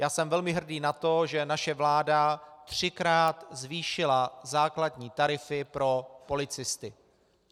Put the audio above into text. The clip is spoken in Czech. Já jsem velmi hrdý na to, že naše vláda třikrát zvýšila základní tarify pro policisty.